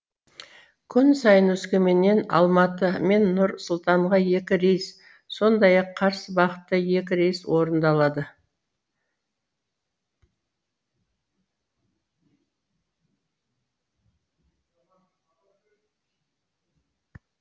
күн сайын өскеменнен алматы мен нұр сұлтанға екі рейс сондай ақ қарсы бағытта екі рейс орындалады